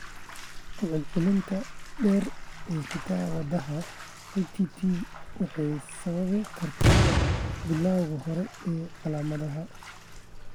Ku celcelinta dheer ee hidda-wadaha HTT waxay sababi kartaa bilawga hore ee calaamadaha.